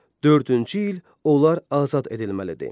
Dördüncü il onlar azad edilməlidir.